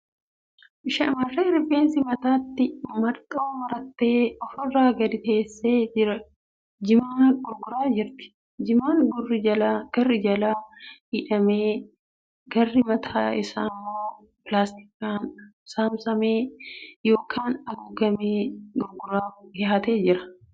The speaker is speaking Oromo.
Shamarree rifeensa mataatti marxoo marattee ofirra gadi teessee jimaa gurguraa jirtu. Jimaan garri jalaa hidhamee garri mataa immoo pilaastikaan saamsamee gookan haguuggamee gurguraaf dhiyaatee jira. Harki nama uffata gurraacha uffatee jira.